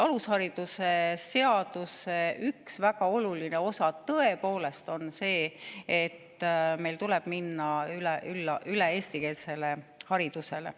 Alusharidusseaduse üks väga oluline osa, tõepoolest, on see, et meil tuleb üle minna eestikeelsele haridusele.